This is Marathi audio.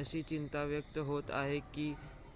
अशी चिंता व्यक्त होत आहे की